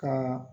Ka